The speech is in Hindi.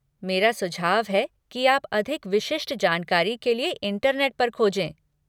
मेरा सुझाव है कि आप अधिक विशिष्ट जानकारी के लिए इंटरनेट पर खोजें।